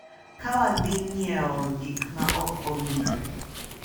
Ka wadhi nyiewo gik ma ok owinjore.